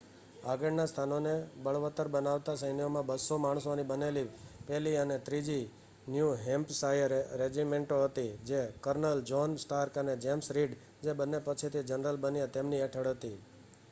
આગળના સ્થાનોને બળવત્તર બનાવતા સૈન્યોમાં 200 માણસોની બનેલી 1લી અને 3જી ન્યૂ હૅમ્પશાયર રેજિમેન્ટો હતી જે કર્નલ જૉહ્ન સ્ટાર્ક અને જેમ્સ રીડ જે બન્ને પછીથી જનરલ બન્યા તેમની હેઠળ હતી